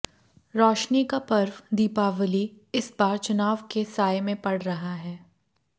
रौशनी का पर्व दीपावली इस बार चुनाव के साए में पड़ रहा है